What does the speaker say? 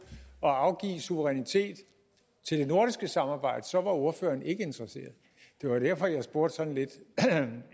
at afgive suverænitet til det nordiske samarbejde så var ordføreren ikke interesseret det var derfor jeg spurgte sådan lidt